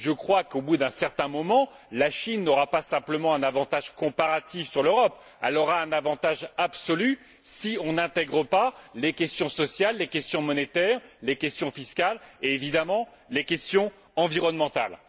Je crois qu'au bout d'un certain moment, la Chine n'aura pas simplement un avantage comparatif sur l'Europe, elle aura un avantage absolu si l'on n'intègre pas les questions sociales, les questions monétaires, les questions fiscales et, évidemment, les questions environnementales.